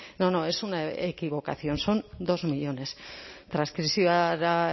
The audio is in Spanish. no no es una equivocación son dos millónes transkripziora